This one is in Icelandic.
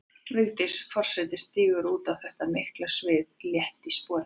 Vigdís forseti stígur út á þetta mikla svið létt í spori.